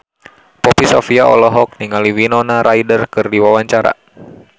Poppy Sovia olohok ningali Winona Ryder keur diwawancara